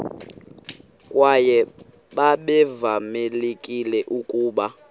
kwaye babevamelekile ukuba